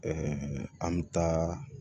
an bɛ taa